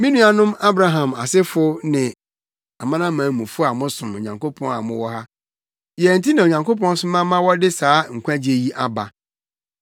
“Me nuanom Abraham asefo ne amanamanmufo a mosom Onyankopɔn a mowɔ ha, yɛn nti na Onyankopɔn soma ma wɔde saa nkwagye yi aba.